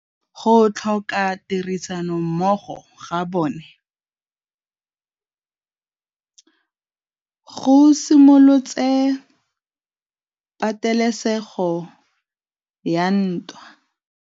Go tlhoka tirsanommogo ga bone go simolotse patêlêsêgô ya ntwa.